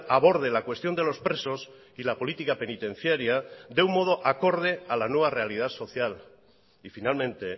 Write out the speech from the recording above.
aborde la cuestión de los presos y la política penitenciaria de un modo acorde a la nueva realidad social y finalmente